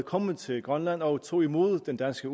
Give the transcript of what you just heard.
kommet til grønland og tog imod den danske